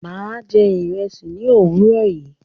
Mà á jẹ ìrẹsì ní òwúrọ̀ yìí.